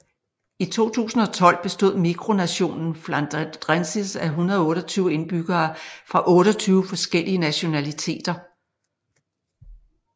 I 2012 bestod mikronationen Flandrensis af 128 indbyggere fra 28 forskellige nationaliteter